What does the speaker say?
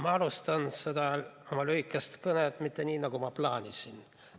Ma alustan seda oma lühikest kõnet mitte nii, nagu ma plaanisin.